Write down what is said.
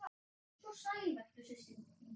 Svo vertu sæl, mín systir!